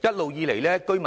一直以來，居民